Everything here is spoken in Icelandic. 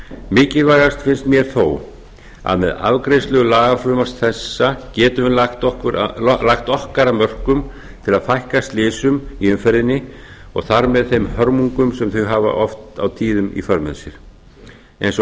mikilvægast finnst mér þó að með afgreiðslu lagafrumvarps þessa getum við lagt okkar af mörkum til að fækka slysum í umferðinni og þar með þeim hörmungum sem þau hafa oft og tíðum í för með sér eins og